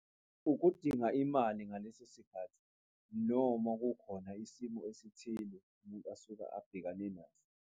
Ukudinga imali ngaleso sikhathi, noma kukhona isimo esithile umuntu asuka abhekane naso.